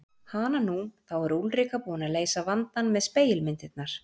Hananú, þá er Úlrika búin að leysa vandann með spegilmyndirnar.